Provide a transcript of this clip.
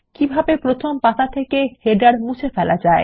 কিভাবে প্রথম পাতা থেকে শিরোলেখ মুছে ফেলা যায়